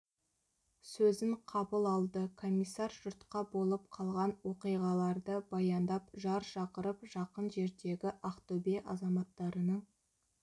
сөзін қабыл алды комиссар жұртқа болып қалған оқиғаларды баяндап жар шақырып жақын жердегі ақтөбе азаматтарының